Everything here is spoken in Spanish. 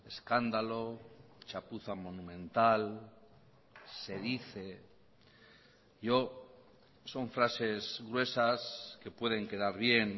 escándalo chapuza monumental se dice yo son frases gruesas que pueden quedar bien